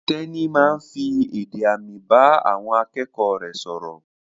Tẹ́ní máa ń fi èdè àmì bá àwọn akẹ́kọ̀ọ́ rẹ̀ sọ̀rọ̀.